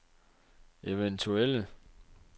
eventuelle